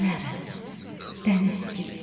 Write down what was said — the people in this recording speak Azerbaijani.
Gələrəm dəniz kimi.